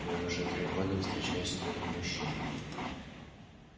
я уже три года встречаюсь с другим мужчиной